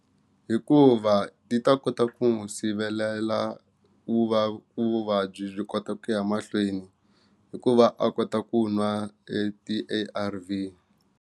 Hikuva ti ta kota ku n'wi sivelela ku va ku vuvabyi byi kota ku ya mahlweni hikuva a kota ku nwa e ti A_R_V.